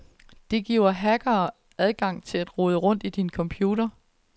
Det giver hackere adgang til at rode rundt i din computer.